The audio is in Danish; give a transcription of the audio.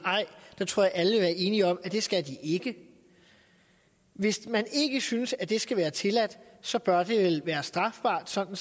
ej tror jeg alle enige om at det skal de ikke hvis man ikke synes at det skal være tilladt så bør det vel være strafbart sådan